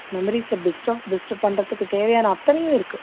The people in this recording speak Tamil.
memories அ best of best பண்றதுக்கு தேவையான அத்தனையும் இருக்கு